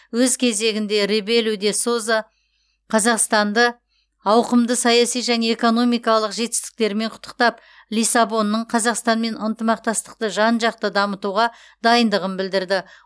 өз кезегінде ребелу де соза қазақстанды ауқымды саяси және экономикалық жетістіктерімен құттықтап лиссабонның қазақстанмен ынтымақтастықты жан жақты дамытуға дайындығын білдірді